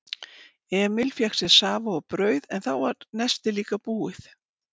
Emil fékk sér safa og brauð en þá var nestið líka búið.